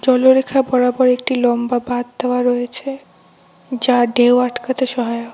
কূলোরেখা বরাবর একটি লম্বা বাঁধ দেওয়া রয়েছে যা ঢেউ আটকাতে সহায়ক।